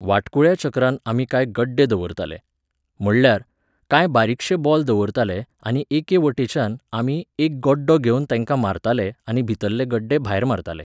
वाटकुळ्या चक्रांत आमी कांय गड्डे दवरताले. म्हणल्यार, कांय बारिकशे बॉल दवरताले आनी एके वटेच्यान आमी एक गड्डो घेवन तेंकां मारताले आनी भितल्ले गड्डे भायर मारताले